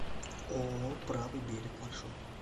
ооо правый берег маршрут